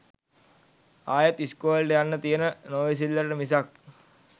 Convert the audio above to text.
ආයෙත් ඉස්කෝලෙට යන්න තියෙන නොඉවසිල්ලට මිසක්